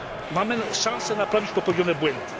Mamy szansę naprawić popełnione błędy.